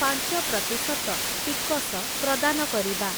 ପାଞ୍ଚ ପ୍ରତିଶତ ଟିକସ ପ୍ରଦାନ କରିବା ।